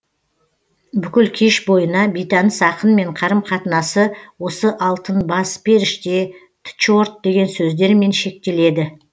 бүкіл кеш бойына бейтаныс ақынмен қарым қатынасы осы алтын бас періште тчорт деген сөздермен шектеледі